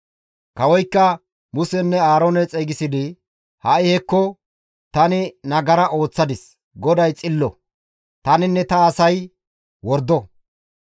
Kawoykka Musenne Aaroone xeygisidi, «Ha7i hekko, tani nagara ooththadis; GODAY xillo; taninne ta asay wordo.